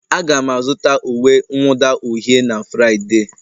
Aga m azụta uwe mwụda uhie na Fraịde.